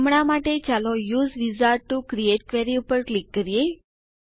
હમણાં માટે ચાલો use wizard to create query ઉપર ક્લિક કરીએ